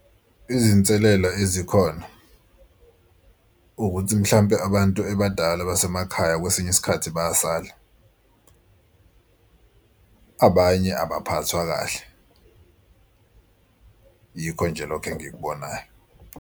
Izinselela ezikhona ukuthi mhlampe abantu abadala basemakhaya kwesinye isikhathi bayasala, abanye abaphathwa kahle. Yikho nje lokho engikubonayo.